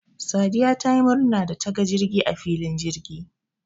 Sadiya tayi murna dataga jirgi a filin jirgi